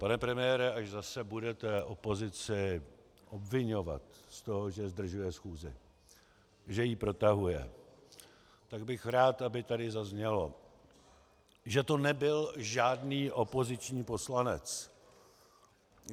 Pane premiére, až zase budete opozici obviňovat z toho, že zdržuje schůzi, že ji protahuje, tak bych rád, aby tady zaznělo, že to nebyl žádný opoziční poslanec.